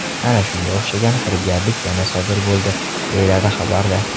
Ana shunga o‘xshagan firibgarlik yana sodir bo‘ldi, deyiladi xabarda.